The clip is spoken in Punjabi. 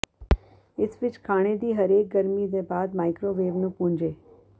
ਇਸ ਵਿਚ ਖਾਣੇ ਦੀ ਹਰੇਕ ਗਰਮੀ ਦੇ ਬਾਅਦ ਮਾਈਕ੍ਰੋਵੇਵ ਨੂੰ ਪੂੰਝੇ